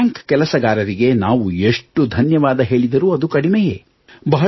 ಆ ಬ್ಯಾಂಕ್ ಕೆಲಸಗಾರರಿಗೆ ನಾವು ಎಷ್ಟು ಧನ್ಯವಾದ ಹೇಳಿದರೂ ಅದು ಕಡಿಮೆಯೇ